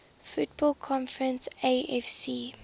football conference afc